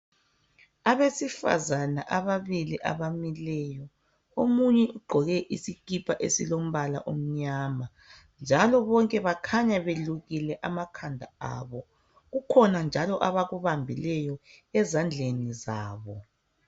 Abesifazana ababili abamileyo. Omunye ugqoke isikipa esilombala omnyama, njalo bonke bakhanya belukile amakhanda abo. Kukhona njalo, abakubambileyo, ezandleni zabo.